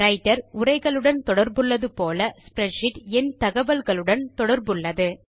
writer உரைகளுடன் தொடர்புள்ளது போல் ஸ்ப்ரெட்ஷீட் எண் தகவலுடன் தொடர்புள்ளது